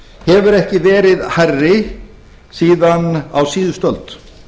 hefur ekki verið hærri síðan á síðustu öld